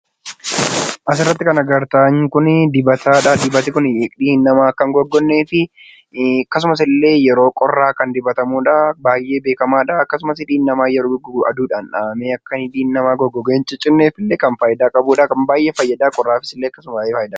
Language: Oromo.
Asirratti kan argitan kun dibatadha. Dibanni kun hidhiin namaa akka hin goggogneefi akkasumasillee yeroo qorraa kan dibatamudha. Baayyee beekkamaadha. Akkasumas hidhiin namaa yeroo goggogu aduudhaan dhahame, akka hidhiin namaa goggoge hin ciccinneefillee kan fayidaa qabudha. Kan baayyee fayyada. Qorraafisillee akkasuma baayyee fayyada.